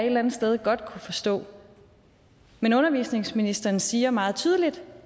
eller andet sted godt kunne forstå men undervisningsministeren siger meget tydeligt